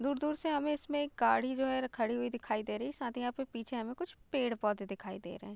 दूर दूर से हमें इसमें एक गाड़ी जो है खड़ी हुई दिखाई दे रही है साथ ही यहाँ पीछे हमें कुछ पेड़ पौधे दिखाई दे रहे हैं ।